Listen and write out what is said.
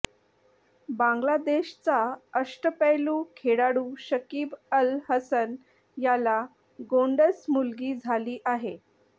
बांगलादेशचा अष्टपैलू खेळाडू शकिब अल हसन याला गोंडस मुलगी झाली आहे